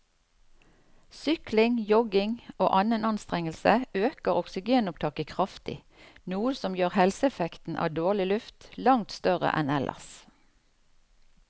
Sykling, jogging og annen anstrengelse øker oksygenopptaket kraftig, noe som gjør helseeffekten av dårlig luft langt større enn ellers.